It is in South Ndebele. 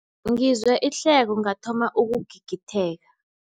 Ngizwe ihleko ngathoma ukugigitheka.